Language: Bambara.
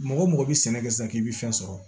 Mɔgɔ mɔgɔ bɛ sɛnɛ kɛ sisan k'i bɛ fɛn sɔrɔ